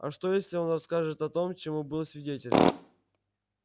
а что если он расскажет о том чему был свидетелем